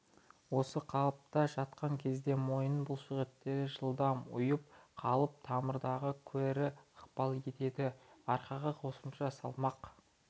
осы қалыпта жатқан кезде мойын бұлшықеттері жылдам ұйып қалып тамырларға кері ықпал етеді арқаға қосымша салмақ